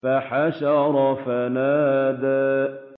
فَحَشَرَ فَنَادَىٰ